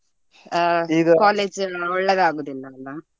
ಈಗ college ಒಳ್ಳೆದಾಗುದಿಲ್ಲ ಅಲ್ಲ?